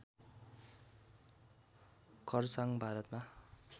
खरसाङ भारतमा